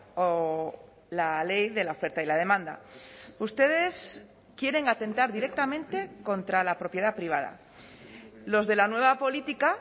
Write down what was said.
o la ley de la oferta y la demanda ustedes quieren atentar directamente contra la propiedad privada los de la nueva política